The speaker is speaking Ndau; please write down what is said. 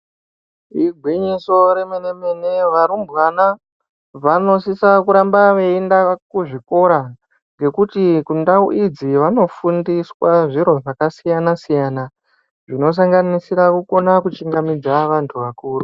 Igwinyiso remene mene varumbwana vanosisa kuramba veienda kuzvikora ngekuti kundau idzi vanofundiswa zviro zvakasiyana siyana zvinosanganisira kukona kuchingamidza vantu vakuru.